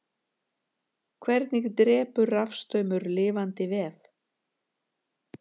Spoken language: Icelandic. hvernig drepur rafstraumur lifandi vef